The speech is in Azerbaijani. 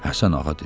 Həsən Ağa dedi: